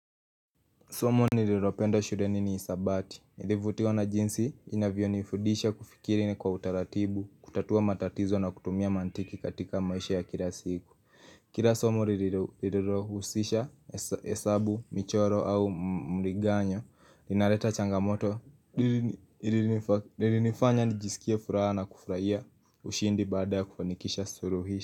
Somo nililoropenda shurenini isabati. Nilivutiwa na jinsi inavyo nifudisha kufikiri ni kwa utaratibu, kutatua matatizo na kutumia mantiki katika maisha ya kila siku. Kira somo nililorohusisha esabu, michoro au mriganyo, ninaleta changamoto, nililifanya nijisikia furaha na kufraia ushindi baada kufanikisha suruhisha.